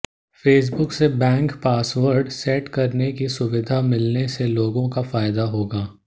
Facebook से bank password set करने की सुविधा मिलने से लोगों को फायदा होगा